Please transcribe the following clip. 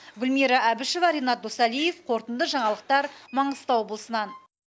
гүлмира әбішева ренат досалиев қорытынды жаңалықтар маңғыстау облысынан